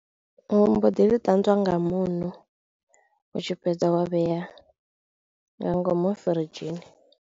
Ndi mbo ḓi ṱanzwa nga muṋo u tshi fhedza wa vhea nga ngomu firidzhini.